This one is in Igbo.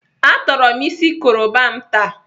Atọrọ m isi koroba m taa.